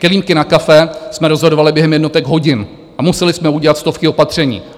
Kelímky na kafe jsme rozhodovali během jednotek hodin a museli jsme udělat stovky opatření.